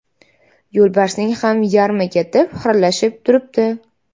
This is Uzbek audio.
Yo‘lbarsning ham yarmi ketib, xiralashib turibdi.